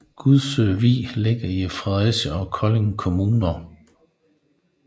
Gudsø Vig ligger i Fredericia og Kolding Kommuner